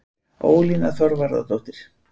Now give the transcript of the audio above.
Ólína Þorvarðardóttir.